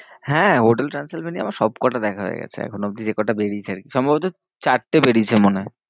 হ্যাঁ, hotel Transylvania আমার সব কটা দেখা হয়ে গেছে এখনও অবধি যেকটা বেরিয়েছে আর কি, সম্ভবত চারটে বেরিয়েছে মনে হয়।